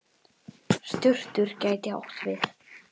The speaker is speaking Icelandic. Surtur gæti átt við